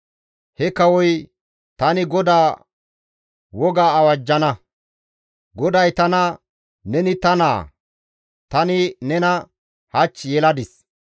He kawoy, «Tani GODAA woga awajjana; GODAY tana, ‹Neni ta naa; tani nena hach yeladis.